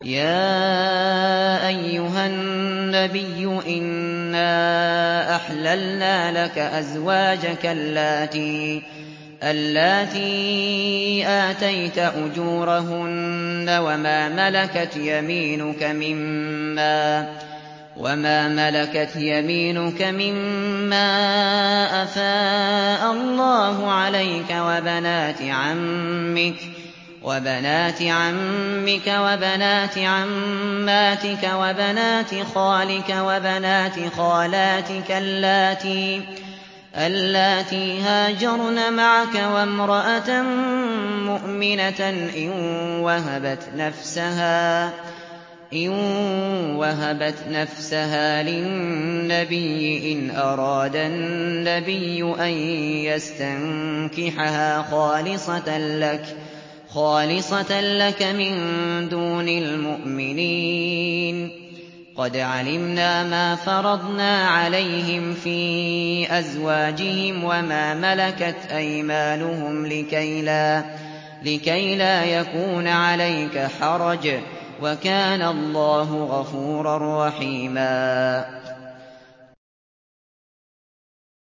يَا أَيُّهَا النَّبِيُّ إِنَّا أَحْلَلْنَا لَكَ أَزْوَاجَكَ اللَّاتِي آتَيْتَ أُجُورَهُنَّ وَمَا مَلَكَتْ يَمِينُكَ مِمَّا أَفَاءَ اللَّهُ عَلَيْكَ وَبَنَاتِ عَمِّكَ وَبَنَاتِ عَمَّاتِكَ وَبَنَاتِ خَالِكَ وَبَنَاتِ خَالَاتِكَ اللَّاتِي هَاجَرْنَ مَعَكَ وَامْرَأَةً مُّؤْمِنَةً إِن وَهَبَتْ نَفْسَهَا لِلنَّبِيِّ إِنْ أَرَادَ النَّبِيُّ أَن يَسْتَنكِحَهَا خَالِصَةً لَّكَ مِن دُونِ الْمُؤْمِنِينَ ۗ قَدْ عَلِمْنَا مَا فَرَضْنَا عَلَيْهِمْ فِي أَزْوَاجِهِمْ وَمَا مَلَكَتْ أَيْمَانُهُمْ لِكَيْلَا يَكُونَ عَلَيْكَ حَرَجٌ ۗ وَكَانَ اللَّهُ غَفُورًا رَّحِيمًا